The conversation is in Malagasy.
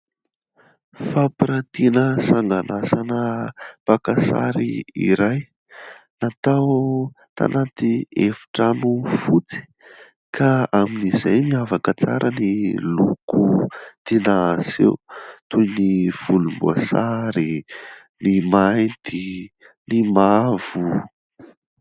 Fampirantiana sangan'asana mpaka sary iray natao tanaty efitrano fotsy ka amin'izay miavaka tsara ny loko tiana aseho toy ny volomboasary, ny mainty, ny mavo.